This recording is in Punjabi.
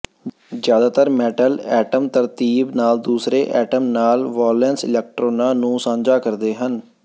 ਜ਼ਿਆਦਾਤਰ ਮੈਟਲ ਐਟੌਮ ਤਰਤੀਬ ਨਾਲ ਦੂਸਰੇ ਐਟਮ ਨਾਲ ਵਾਲੈਂਸ ਇਲੈਕਟ੍ਰੌਨਾਂ ਨੂੰ ਸਾਂਝਾ ਕਰਦੇ ਹਨ